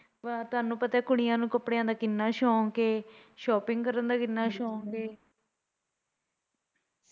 ਵਾਹ ਤੁਹਾਨੂੰ ਪਤਾ ਕੁੜੀਆਂ ਨੂੰ ਕੱਪੜਿਆ ਦਾ ਕਿੰਨਾ ਸ਼ੌਕ ਐ shopping ਕਰਨ ਦਾ ਕਿੰਨਾ ਸ਼ੌਕ ਐ?